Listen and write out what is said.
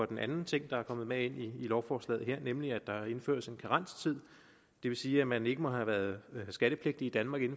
den anden ting der er kommet med ind i lovforslaget her nemlig at der indføres en karenstid det vil sige at man ikke må have været skattepligtig i danmark i